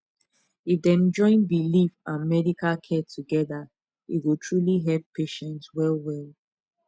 if dem join belief and medical care together e go truly help patient well well